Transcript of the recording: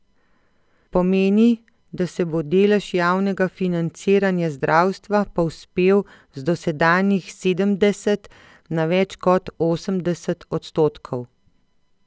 Pomeni, da se bo delež javnega financiranja zdravstva povzpel z dosedanjih sedemdeset na več kot osemdeset odstotkov.